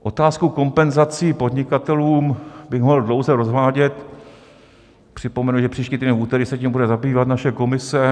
Otázku kompenzací podnikatelů bych mohl dlouze rozvádět, připomenu, že příští týden v úterý se tím bude zabývat naše komise.